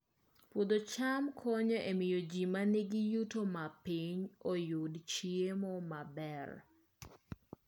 Puodho cham konyo e miyo ji ma nigi yuto mapiny oyud chiemo maber